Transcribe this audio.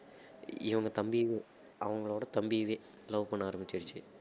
இவங்க தம்பியவே அவங்களோட தம்பியவே love பண்ண ஆரம்பிச்சுடுச்சு